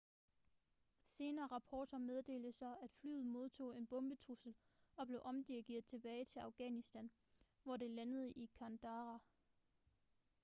senere rapporter meddelte så at flyet modtog en bombetrussel og blev omdirigeret tilbage til afghanistan hvor det landede i kandahar